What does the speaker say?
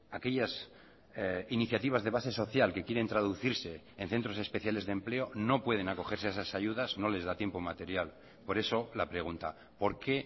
aquellas iniciativas de base social que quieren traducirse en centros especiales de empleo no pueden acogerse a esas ayudas no les da tiempo material por eso la pregunta por qué